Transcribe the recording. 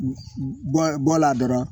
Bɔ bɔla a dɔrɔn